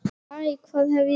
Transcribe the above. Æ, hvað hef ég gert?